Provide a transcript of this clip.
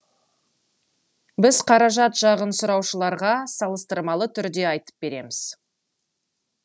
біз қаражат жағын сұраушыларға салыстырмалы түрде айтып береміз